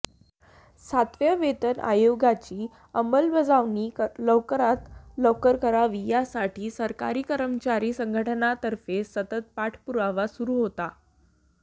सातव्या वेतन आयोगाची अंमलबजावणी लवकरात लवकर करावी यासाठी सरकारी कर्मचारी संघटनांतर्फे सतत पाठपुरावा सुरू होता